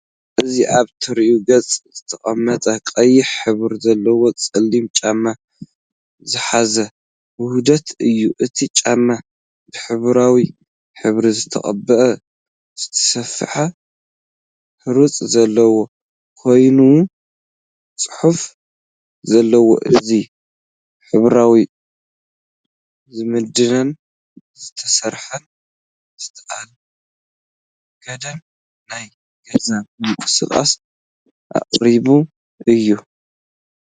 እዚ ኣብ ተሪር ገጽ ዝተቐመጠ ቀይሕ ሕብሪ ዘለዎ ጸሊም ጫፍ ዝሓዘ ውህደት እዩ። እቲ ጫማ ብሕብራዊ ሕብሪ ዝተቐብአ፡ ዝተሰፍሐ ቅርጺ ዘለዎ ኮይኑ፡ ጽሑፍ ዘለዎ እዩ። እዚ ሕብራዊ ዝምድና ዝተሰፍሐን ዝተኣንገደን ናይ ገዛ ምንቅስቓስ ኣቀራርባ እዩ።